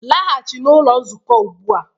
Laghachi n'ụlọ nzukọ ugbu a